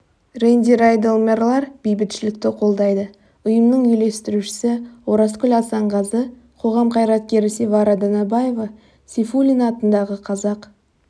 рэнди райдел мэрлар бейбітшілікті қолдайды ұйымның үйлестірушісі оразкүл асанғазы қоғам қайраткері севара данабаева сейфуллин атындағы қазақ